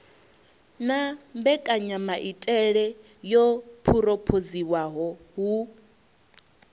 na mbekanyamaitele yo phurophoziwaho hu